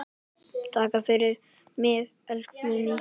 Takk fyrir mig, elsku Guðný.